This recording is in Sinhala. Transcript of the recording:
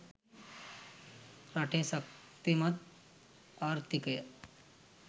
රටේ ශක්තිමත් ආර්ථිකය